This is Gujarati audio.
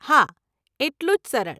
હા, એટલું જ સરળ.